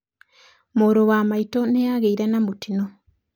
Mũrũ wa maitũ nĩ aagĩire na mũtino